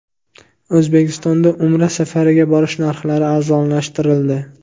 O‘zbekistonda Umra safariga borish narxlari arzonlashtirildi.